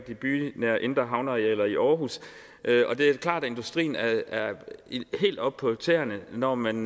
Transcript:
de bynære indre havnearealer i aarhus det er klart at industrien er er helt oppe på tæerne når man